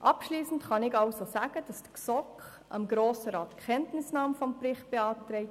Abschliessend kann ich sagen, dass die GSoK dem Grossen Rat die Kenntnisnahme des Berichts beantragt.